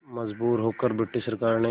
मजबूर होकर ब्रिटिश सरकार ने